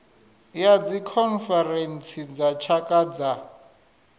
ya dzikhonferentsi dza tshaka dza